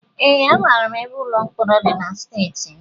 Ee, amara m ebe ụlọ mkpọrọ dị na steeti m